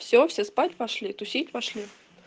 все все спать пошли тусить пошли